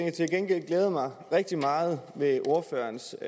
gengæld glæder mig rigtig meget i ordførerens